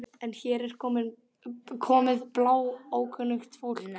En hér er komið bláókunnugt fólk.